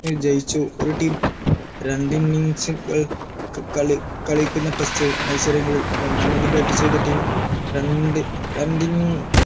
ന് ജയിച്ചു ഒരു team രണ്ട് innings ഉകൾ ക്ക് കളി കളിക്കുന്ന test മത്സരങ്ങളിൽ രണ്ടാമത് bat ചെയ്ത team രണ്ടു രണ്ടിന്നി